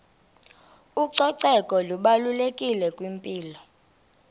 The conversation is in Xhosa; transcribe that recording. ucoceko lubalulekile kwimpilo